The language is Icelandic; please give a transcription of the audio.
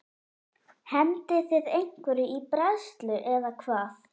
Hendið þið einhverju í bræðslu eða hvað?